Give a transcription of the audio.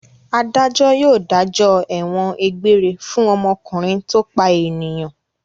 Adájọ́ yóò dájọ́ ẹ̀wọ̀n egbére fún ọmọkùnrin tó pa ènìyàn.